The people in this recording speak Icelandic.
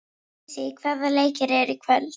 Sísí, hvaða leikir eru í kvöld?